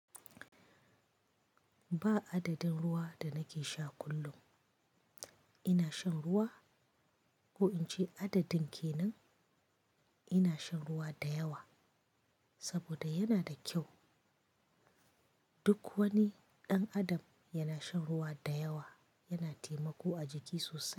Ba adadin ruwa da nake sha kullum. Ina shan ruwa ko in ce adadin ke nan, ina shan ruwa da yawa saboda yana da kyau. Duk wani ɗan adam yana shan ruwa da yawa, yana taimako a jiki sosai.